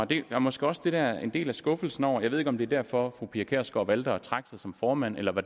det er måske også det der er en del af skuffelsen og jeg ved ikke om det er derfor fru pia kjærsgaard valgte at trække sig som formand eller